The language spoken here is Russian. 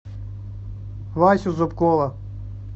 васю зубкова